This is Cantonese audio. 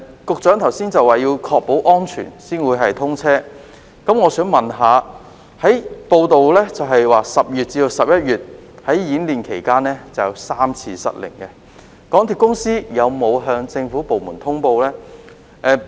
局長剛才表示要確保安全才會通車，但報道指出在10月至11月的演練期間，便曾有3次失靈，港鐵公司有否向政府部門通報相關情況呢？